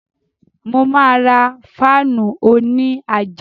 Mo ma ra fáànù òní àjà